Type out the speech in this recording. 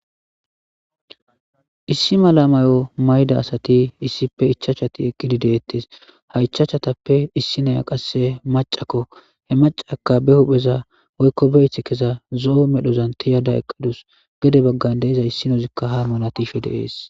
Issi mala mayo mayda asati issippe ichachati eqqidi deettes ha ichachatappe issi naya qasse macakko he macaka be hupheza woykko beyith kesa zo'o medhozan tiyada eqqadus gede baggan deiza issinozikka hamona tiishe deees.